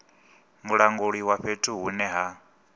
mulanguli wa fhethu hune ha